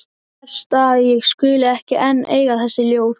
Verst að ég skuli ekki enn eiga þessi ljóð.